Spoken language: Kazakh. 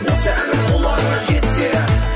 осы әнім құлағыңа жетсе